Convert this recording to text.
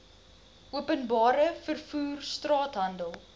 openbare vervoer straathandel